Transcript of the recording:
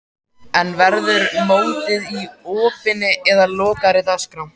En verður mótið í opinni eða lokaðri dagskrá?